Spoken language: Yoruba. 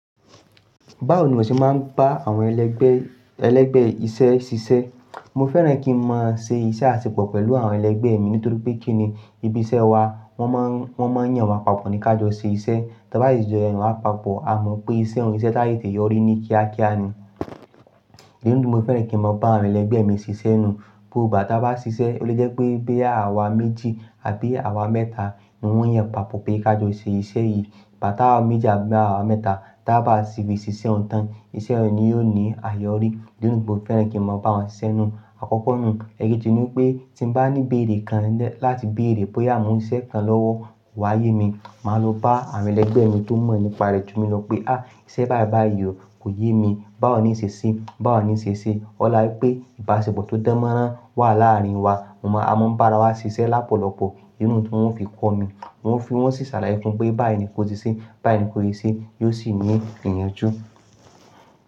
Báwo ni mo ṣe máa ń bá àwọn ẹlẹgbẹ́ ẹlẹgbẹ́ iṣẹ́ ṣiṣẹ́? Mo fẹ́ràn kí n máa ṣe iṣẹ́ àṣepọ̀ pẹ̀lú àwọn ẹlẹgbẹ́ mi nítorí pé kí ni ibi iṣẹ́ wa wọ́n máa ń wọ́n máa ń yàn wa papọ̀ ní ká jọ ṣe iṣẹ́. Tí a bá n sí jọ ẹnu àpapọ̀, a mọ̀ pé iṣẹ́ òun iṣẹ́ tátete yọrí ní kíá kíá ni. Diẹ nítorí mo fẹ́ràn kí n máa bá àwọn ẹlẹgbẹ́ mi ṣiṣẹ́ nù. Bo bà tí a bá ṣiṣẹ́, ó lè jẹ́ pé boya àwa méjì àbí àwa mẹ́ta, wọn yàn papọ̀ pé ká jọ ṣe iṣẹ́ yìí. Ta ba méjì àbí àwa mẹ́ta, tí a bá ṣìbí ṣiṣẹ́ òǹtàn, iṣẹ́ òun ni yóò ní àseyọrí. Diẹ nítorí mo fẹ́ràn kí n máa bá wọn ṣiṣẹ́ nù. Àkọ́kọ́ nù, ẹekeji ni pé tí bá ní beère kan láti beère bóyá mo n se iṣẹ́ kan lọ́wọ́ kò wá yé mi, màá lo bá àwọn ẹlẹgbẹ́ mi tó mọ̀ nípa rẹ̀ jú mi lọ pé, "à iṣẹ́ báì báì yí o kò yé mi, báwo ni ì ṣe se? Báwo ni ì ṣe e?" Ọlá pé ìbá àṣipọ̀ tó dánmọ́rán wà láàárín wa, mo máa a mọ́ bára wa ṣiṣẹ́ lápọ̀lọ̀pọ̀. Ìnú tí wọn fi kọ́ mi, wọ́n fi wọ́n sì ṣàlàyé fún pé báyii kò ṣe ṣé, báyií kò ṣe ṣé, yóò sì ní ìyànjú.